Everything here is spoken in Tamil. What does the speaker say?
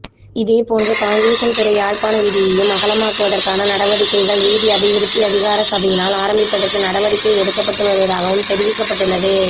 இதேபோன்று காங்கேசன்துறை யாழ்ப்பாண வீதியையும் அகலமாக்குவதற்கான நடவடிக்கைகள் வீதி அபிவிருத்தி அதிகார சபையினால் ஆரம்பிப்பதற்கு நடவடிக்கை எடுக்கப்பட்டு வருவதாகவும் தெரிவிக்கப்பட்டுள்ளது